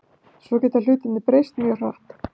Svo geta hlutirnir breyst mjög hratt.